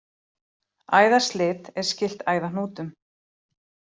Æðaslit er skylt æðahnútum.